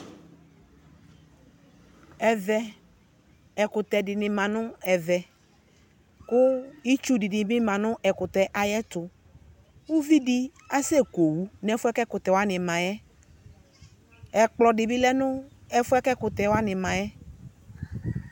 Ɛvɛ ɛkutɛ dini ma nu ɛvɛ ku itsu dinibi ma nu ɛkutɛ ayɛtu uvidi aseku owu nu ɛfuɛ, ɛkutɛ wani ma yɛ ɛkplɔdi bi ma nu ɛfɛ ɛkutɛwani ma yɛ